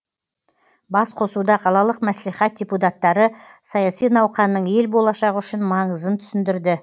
басқосуда қалалық мәслихат депутаттары саяси науқанның ел болашағы үшін маңызын түсіндірді